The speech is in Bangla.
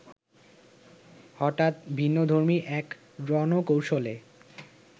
হঠাৎ ভিন্নধর্মী এক রণকৌশলে